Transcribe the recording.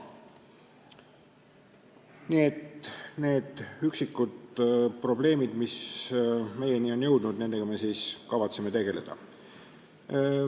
Nii et nende üksikute probleemidega, mis meieni on jõudnud, me kavatseme tegeleda.